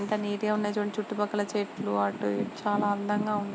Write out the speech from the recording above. ఎంత నీట్ గ ఉంది. చుడండి చుట్టూ పక్కల చెట్లు చాల అందంగా ఉన్నాయ్.